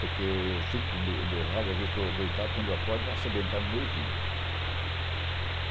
Porque eu fico com o meu rádio, às vezes estou deitado, quando eu acordo está sementando o meu ouvido.